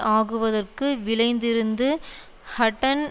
ஆகுவதற்கு விழைந்திருந்து ஹட்டன்